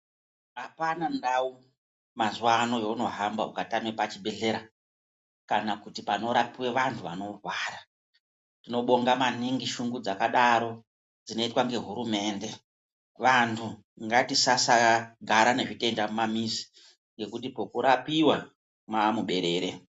Apana ndau mazuvano yaunohamba ukatame pachibhehleya kana kuti panorapwe vantu vanorwara tinobonga maningi shungu dzakadaro dzinoitwa ngehurumende vanhu ngatisasa gare nezvitenda mumamizi ngekuti kwekurapiwa mwamuberere.